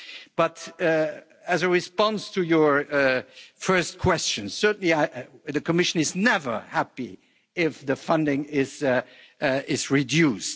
But as a response to your first question, certainly the Commission is never happy if the funding is reduced.